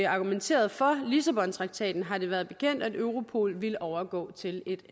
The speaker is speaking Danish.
argumenterede for lissabontraktaten har det været bekendt at europol ville overgå til et